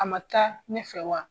A man taa ne fɛ wa.